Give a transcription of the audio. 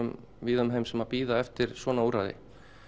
víða um heim sem bíða eftir svona úrræði